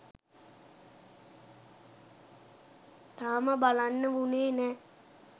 තාම බලන්න වුණේ නෑ.